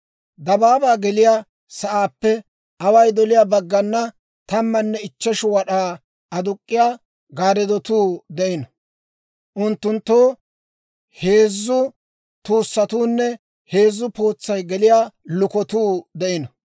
Dabaabaa geliyaa sa'aappe away doliyaa baggana tammanne ichcheshu wad'aa aduk'k'iyaa gaarddotuu de'ino; unttunttoo heezzu tuussatuunne heezzu pootsay geliyaa lukotuu de'ino.